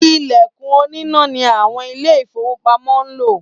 “Ìlẹ̀kùn oníná ” ni àwọn Ilé-ìfowópamọ́ ń lò